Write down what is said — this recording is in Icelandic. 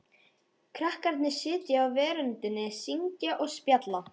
Krakkarnir sitja á veröndinni, syngja og spjalla.